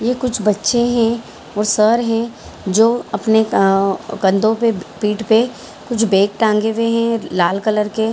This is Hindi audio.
ये कुछ बच्चे हैं वो सर है जो अपने ऑ कंधों पे पीठ पे कुछ बैग टांगे हुए हैं लाल कलर के ।